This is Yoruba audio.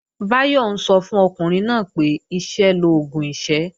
Báyọ̀ ń sọ fún ọkùnrin náà pé "iṣẹ́ l'oògùn ìṣẹ́"